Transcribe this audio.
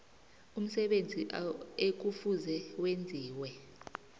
umsebenzi ekufuze wenziwe